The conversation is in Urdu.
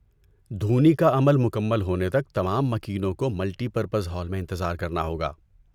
دھونی کا عمل مکمل ہونے تک تمام مکینوں کو ملٹی پرپز ہال میں انتظار کرنا ہوگا۔